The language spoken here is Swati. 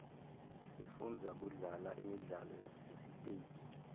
sifunza kudlala imidlalo yasesiteji